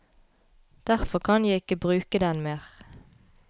Derfor kan jeg ikke bruke den mer.